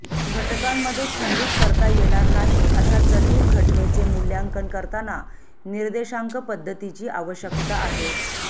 घटकांमध्ये खंडित करता येणार नाही अशा जटिल घटनेचे मूल्यांकन करताना निर्देशांक पद्धतीची आवश्यकता आहे